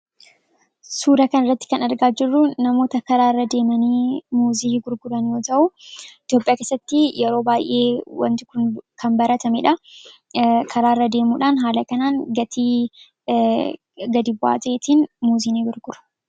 Suura kana irratti kan argaa jirru, namoota karaa irra deemanii muuzii gurguran yoo ta'u , Itoophiyaa keessatti yeroo baayyee waanti Kun kan baratamedha. Karaa irra deemuudhaan haala kanaan gatii gad bu'aa ta'eetiin muuzii ni gurguru.